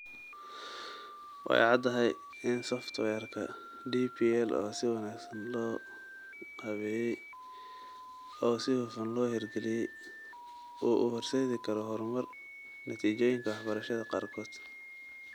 Way caddahay in software-ka DPL oo si wanaagsan loo qaabeeyey oo si hufan loo hirgeliyey uu u horseedi karo horumar natiijooyinka waxbarashada qaarkood.